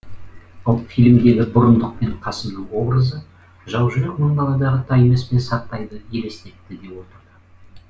ал фильмдегі бұрындықпен қасымның образы жаужүрек мың баладағы таймас пен сартайды елестетті де отырды